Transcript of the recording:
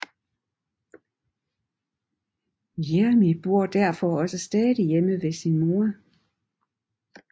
Jeremy bor derfor også stadig hjemme ved sin mor